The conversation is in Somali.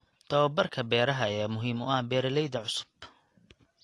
Tababarka beeraha ayaa muhiim u ah beeralayda cusub.